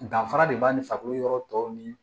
Danfara de b'an ni farikolo yɔrɔ tɔw nii